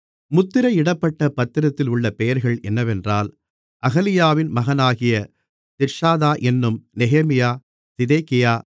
முத்திரையிடப்பட்ட பத்திரத்தில் உள்ள பெயர்கள் என்னவென்றால் அகலியாவின் மகனாகிய திர்ஷாதா என்னும் நெகேமியா சிதேகியா